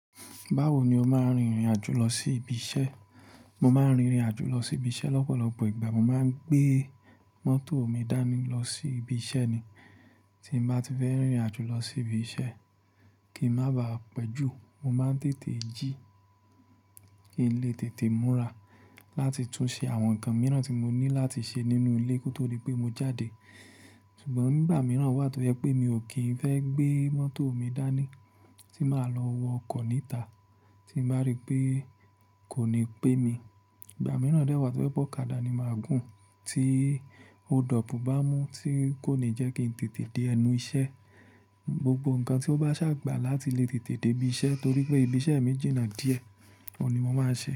Báwo ni o máa ń rìnrìn àjò lọ sí ibi iṣẹ́? Mo máa ń rìnrìn àjò lọ sí ibi iṣẹ́ lọ́pọ̀lọpọ̀ ìgbà. Mo máa ń gbé mọ́tò mi dání lọ sí ibi iṣẹ́ ni. Tí mo bá ti fẹ́ rìnrìn àjò lọ sí ibi iṣẹ́, kí ń má baà pẹ́ jù, mo máa ń tètè jí, kí n lè tètè múra láti tún ṣe àwọn nǹkan mìíràn tí mo ní láti ṣe nínú ilé kí ó tó dé pé mo jáde. Ṣùgbọ́n ìgbà mìíràn wà tó jẹ́ pé mi ò kí ń fẹ́ gbé mọ́tò mi dání, tí màá lọ wọ ọkọ̀ níta, tí bàá rí pé kò ní pé mi. Ìgbà mìíràn dẹ́ wà tó jẹ́ bọ̀ ọ̀kadà ni màá gùn, tí Òdòpù bá mú tí kò ní jẹ́ kí n tètè dé ẹnu iṣẹ́. Gbogbo nǹkan tí ó bá ṣàgbà láti lè tètè dé ibi iṣẹ́ torí pé ibi iṣẹ́ mi jìnnà díẹ̀, ọ̀ ni mo máa ṣe.